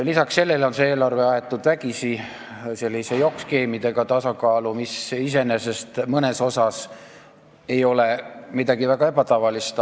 Lisaks sellele on see eelarve tasakaalu aetud vägisi, jokk-skeemidega, mis iseenesest mõnes mõttes ei ole midagi ebatavalist.